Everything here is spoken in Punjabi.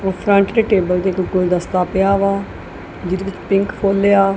ਉੱਪਰ ਟੇਬਲ ਤੇ ਇੱਕ ਗੁਲਦਸਤਾ ਪਿਆ ਵਾ ਜਿਹਦੇ ਵਿੱਚ ਪਿੰਕ ਫੁੱਲ ਆ।